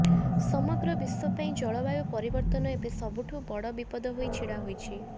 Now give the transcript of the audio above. ସମଗ୍ର ବିଶ୍ୱ ପାଇଁ ଜଳବାୟୁ ପରିବର୍ତ୍ତନ ଏବେ ସବୁଠୁ ବଡ଼ ବିପଦ ହୋଇ ଛିଡ଼ା ହୋଇଛି